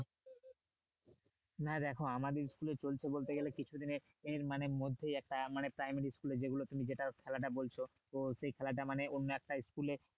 না দেখো আমাদের school এ চলছে বলতে গেলে কিছু দিনের মানে মধ্যেই একটা মানে primary school যেগুলো মানে তুমি যেটা খেলাটা বলছো তো সেই খেলাটা মানে অন্য একটা school এ